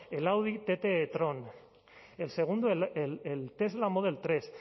el audi tt e tron el segundo el tesla model tres